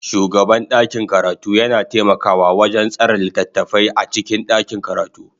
Shugaban ɗakin karatu yana taimakawa wajen tsara littattafai a cikin ɗakin karatu.